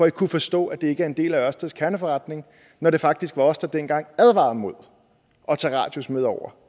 at kunne forstå at det ikke er en del af ørsteds kerneforretning når det faktisk var os der dengang advarede mod at tage radius med over